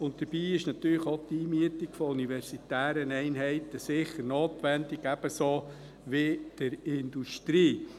Dabei ist natürlich auch die Einmietung von universitären Einheiten sicher notwendig, ebenso wie jene der Industrie.